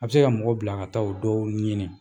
A bɛ se ka mɔgɔ bila a ka taa o dɔw ɲini